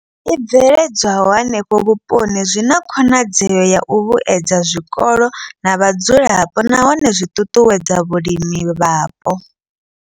I bveledzwaho henefho vhuponi zwi na khonadzeo ya u vhuedza zwikolo na vhadzulapo nahone zwi ṱuṱuwedza vhulimi hapo.